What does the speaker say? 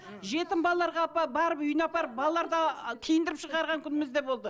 жетім балаларға барып үйіне апарып балаларды киіндіріп шығарған күніміз де болды